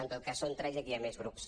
en tot cas són tres i aquí hi ha més grups